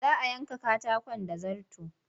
Za a yanke katakon da zarto.